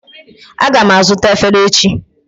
Aga m azụta efere echi